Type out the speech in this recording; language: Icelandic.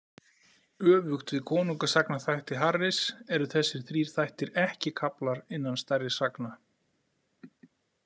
Öfugt við konungasagnaþætti Harris eru þessir þrír þættir ekki kaflar innan stærri sagna.